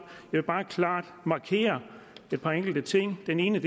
vil bare klart markere et par enkelte ting den ene